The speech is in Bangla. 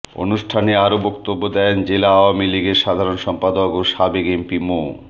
অনুষ্ঠানে আরও বক্তব্য দেন জেলা আওয়ামী লীগের সাধারণ সম্পাদক ও সাবেক এমপি মো